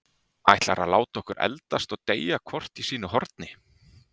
Ætlarðu að láta okkur eldast og deyja hvort í sínu horni?